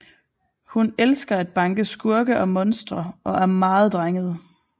Hun elsker at banke skurke og monstre og er meget drenget